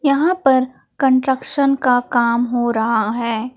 यहां पर कंस्ट्रक्शन का काम हो रहा है।